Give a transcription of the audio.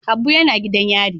Habu yana gidan yari.